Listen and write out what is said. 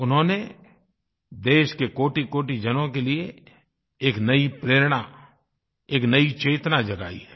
उन्होंने देश के कोटिकोटि जनों के लिए एक नयी प्रेरणा एक नयी चेतना जगायी है